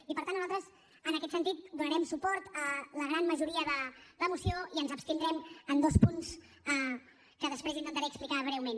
i per tant nosaltres en aquest sentit donarem suport a la gran majoria de la moció i ens abstindrem en dos punts que després intentaré explicar breument